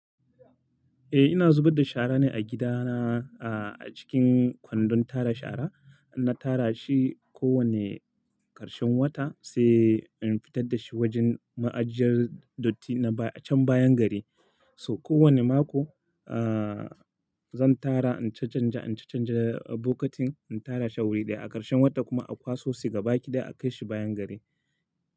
Eh, ina zubar da shara ne a gidana, a cikin kwandon tara shara. Na tara shi kowane ƙarshen wata sai in fitar da shi wajen ma'ajiyar datti na baya a can bayan gari. So kowane mako, aa, zan tara in canja, in canja bokatin, in tara shi a wuri ɗaya a ƙarshen wata kuma akwaso, sai gaba ƙida akai shi bayan gari.